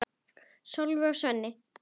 Sólveig og Sveinn.